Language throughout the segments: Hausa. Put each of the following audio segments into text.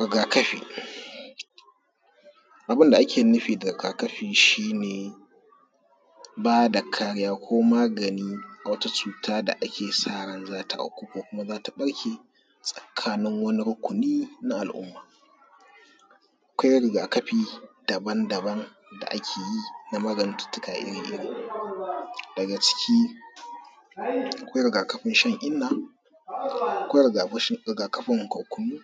Rigakafi abun da ake nufi da rigakafi shi ne ba da kariya ko magani ga wata cuta da ake sa ran za ta afku ko za ta barke tsakanin wani rukuni na al’umma. Akwai rigakafi daban-daban da ake yi na magantattu iri-iri daga ciki akwai rigakafin shan inna, akwai rigakafin kwanwan,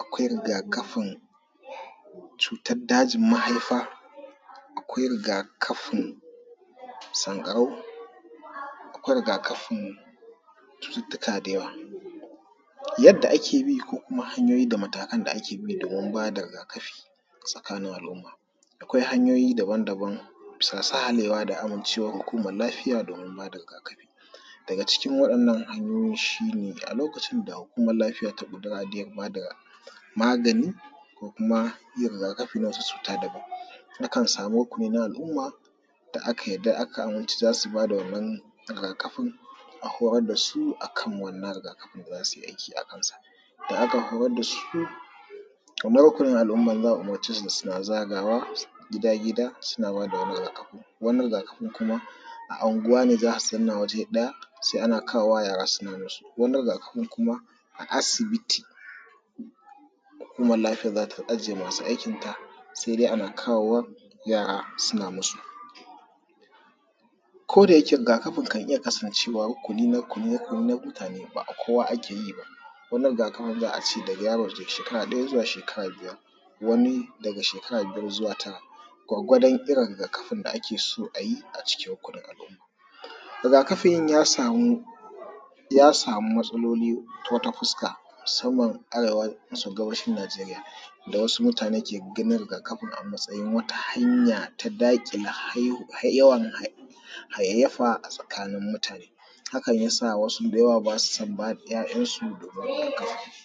akwai rigakafin cutan dajinmahaifa, akwai rigakafin sanƙarau, akwai rigakafin cututtuka da yawa. Yadda ake bi ko kuma hanyoyin ko kuma matakan da ake bi domin ba da rigakafi tsakanin al’umma, akwai hanyoyi daban-daban bisa sahalewa da amincewan hukuman lafiya domin ba da rigakafin nan daga cikin waɗannan hanyoyi shi ne a lokacin da hukuman lafiya ta ce za a ba da magani kuma yin rigakafi wata cuta daban akan samu hukuma aka umurci za ta ba da wannan rigakafin. Akwai waɗansu akan wannan rigakafin za su yi aiki akansa za ka koyar da su nau’ukun al’umman za a umurce su suna zagawa gida-gida suna ba da wannan rigakafin. Wannan rigakafin kuma anguwanne za a zanna waje ɗaya se a kawo yara suna bin su, wani rigakafin kuma a asibiti hukuman lafiyan za ta ajiye masu aikinta suma ana kawo wa yara suna musu ko da yike rigakafin yakan iya kasancewa rukuni na mutane ba na kowa ake yi wani rigakafin za a ce da yaro daga sheka ɗaya zuwa shekaa biyar. Wani daga shekara biyar zuwa tara, wani irin rigakafin da ake so a yi a cikin kuma al’umma rigakafin ya samu ya samu matsaloli ta wata fuska musamman arewan gabashin Najeriya da wasu mutanen ke fitinar da kan a matsayin wata hanya ta daƙile yawan haihafa a tsakanin mutane. Hakan ne ya sa wasu ba su son ba da ‘ya’yan su rigakafi.